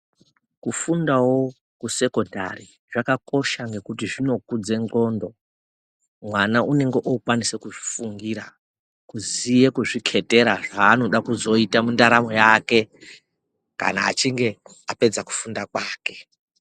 Kufundawo kusekondari zvakakosha ngekuti zvinokudza ndxondo. Mwana anenge akukwanisa kuzvifundira kuziya kuzviketera zvaanoda kuzoita mundaramo yake kana achinge apedza kufunda kwake.